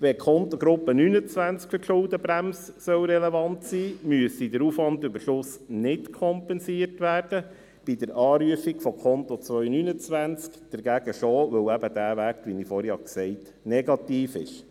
Wenn die Kontengruppe 29 für die Schuldenbremse relevant sein soll, müsste der Aufwandüberschuss nicht kompensiert werden, bei der Anrufung von Konto 299 hingegen schon, weil eben dieser Wert negativ ist, wie ich vorhin gesagt habe.